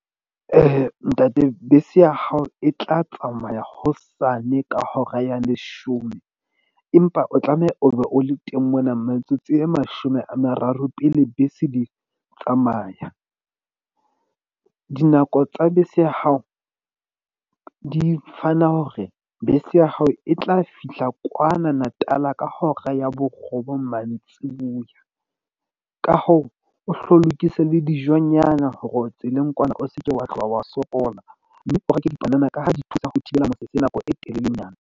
Ntate bese ya hao e tla tsamaya hosane ka hora ya leshome empa o tlameha o be o le teng mona. Metsotso e mashome a mararo pele bese di tsamaya. Dinako tsa bese ya hao, di fana hore bese ya hao e tla fihla kwana Natal-a ka hora ya borobong mantsibuya. Ka hoo, o hlo lokise le dijonyana hore o tseleng kwana. O seke wa tloha wa sokola. Mme o reke dipanana ka ha di thusa ho thibela nako e telelenyana.